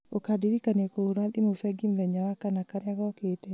ũkandirikania kũhũra thimũ bengi mũthenya wa kana karĩa gokĩte